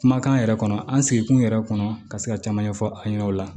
Kumakan yɛrɛ kɔnɔ an sigikun yɛrɛ kɔnɔ ka se ka caman ɲɛfɔ a ɲɛna o la